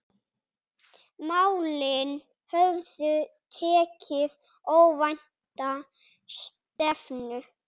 Málin höfðu tekið óvænta stefnu.